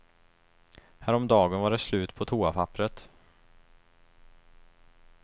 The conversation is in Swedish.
Häromdagen var det slut på toapapperet.